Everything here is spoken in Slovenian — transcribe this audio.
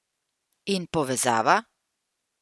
In povezava?